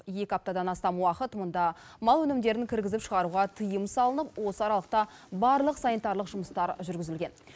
екі аптадан астам уақыт мұнда мал өнімдерін кіргізіп шығаруға тыйым салынып осы аралықта барлық санитарлық жұмыстар жүргізілген